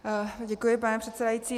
Děkuji, pane předsedající.